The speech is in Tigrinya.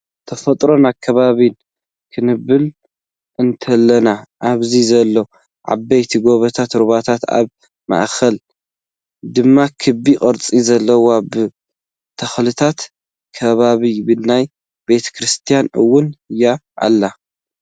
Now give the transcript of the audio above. ተፈጥሮን ኣከባቢን ፦ ክንብል እንተለና ኣብዚ ዘሎ ዓበይቲ ጎቦታት ሩባታትን ኣብ ማእከል ድማ ክቢ ቅርፂ ዘለዎ ብተኽልታት ከባበ ናይ ቤተ-ክርስትያን እውን ይኣ ኣሎ።